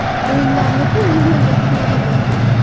O‘yinlarni-ku umuman gapirmagan ma’qul.